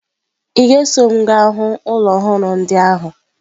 Ị ga-eso m gaa hụ ụlọ ọhụrụ ndị ahụ?